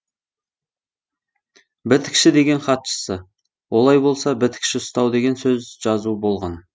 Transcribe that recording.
бітікші деген хатшысы олай болса бітікші ұстау деген сөз жазу болған